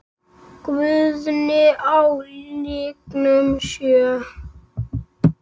Guðni á lygnum sjó?